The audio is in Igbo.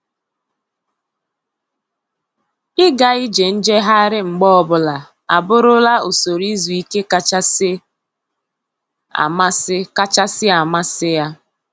Ịga ije njegharị mgbe ọbụla abụrụla usoro izu ike kachasị amasị kachasị amasị ya.